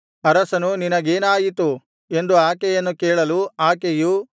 ಅರಸನು ನಿನಗೇನಾಯಿತು ಎಂದು ಆಕೆಯನ್ನು ಕೇಳಲು ಆಕೆಯು